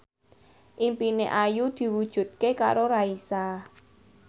impine Ayu diwujudke karo Raisa